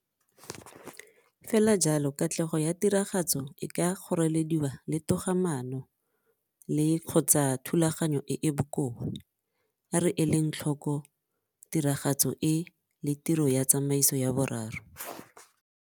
Fela jalo katlego ya tiragatso e ka kgorelediwa le togamaano le-kgotsa thulaganyo e e bokoa. A re eleng tlhoko tiragatso e le tiro ya tsamaiso ya boraro.